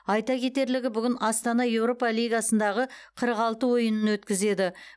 айта кетерлігі бүгін астана еуропа лигасындағы қырық алты ойынын өткізеді